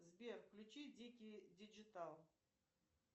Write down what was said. сбер включи дикие диджитал